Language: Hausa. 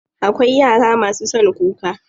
Akwai yara masu son kuka.